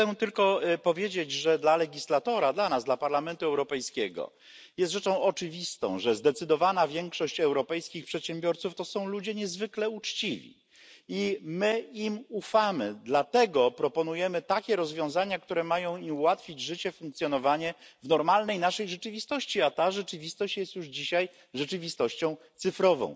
Chciałbym tylko powiedzieć, że dla legislatora, dla nas, dla Parlamentu Europejskiego jest rzeczą oczywistą, że zdecydowana większość europejskich przedsiębiorców to są ludzie niezwykle uczciwi i my im ufamy, dlatego proponujemy takie rozwiązania, które mają im ułatwić życie i funkcjonowanie w normalnej naszej rzeczywistości, a ta rzeczywistość jest już dzisiaj rzeczywistością cyfrową.